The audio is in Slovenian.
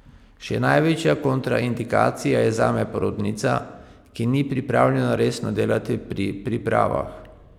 Še največja kontraindikacija je zame porodnica, ki ni pripravljena resno delati pri pripravah.